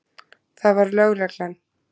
Það var lögreglan.